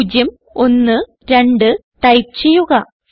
പൂജ്യം ഒന്ന് രണ്ട് ടൈപ്പ് ചെയ്യുക